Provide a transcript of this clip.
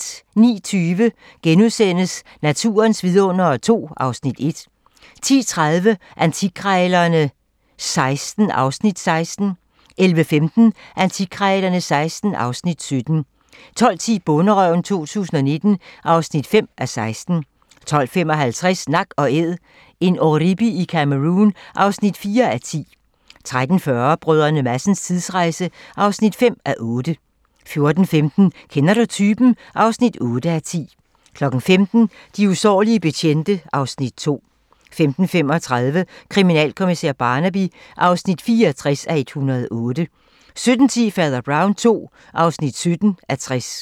09:20: Naturens vidundere II (Afs. 1)* 10:30: Antikkrejlerne XVI (Afs. 16) 11:15: Antikkrejlerne XVI (Afs. 17) 12:10: Bonderøven 2019 (5:16) 12:55: Nak & Æd - en oribi i Cameroun (4:10) 13:40: Brdr. Madsens tidsrejse (5:8) 14:15: Kender du typen? (8:10) 15:00: De usårlige betjente (Afs. 2) 15:35: Kriminalkommissær Barnaby (64:108) 17:10: Fader Brown II (17:60)